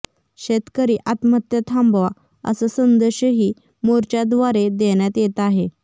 शेतकरी आत्महत्या थांबवा असा संदेशही मोर्चाद्वारे देण्यात येत आहे